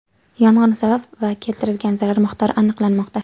Yong‘in sababi va keltirgan zarar miqdori aniqlanmoqda.